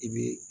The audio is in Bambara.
I bɛ